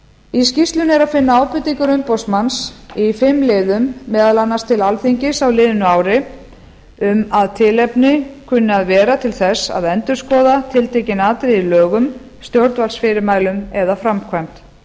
í skýrslunni er að finna ábendingar umboðsmanns í fimm liðum meðal annars til alþingis á liðnu ári um að tilefni kunni að vera til þess að endurskoða tiltekin atriði í lögum stjórnvaldsfyrirmælum eða framkvæmd